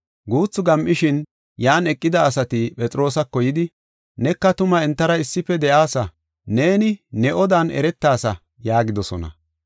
Guuthu gam7ishin, yan eqida asati Phexroosako yidi, “Neka tuma entara issife de7aasa; neeni ne odan eretasa” yaagidosona.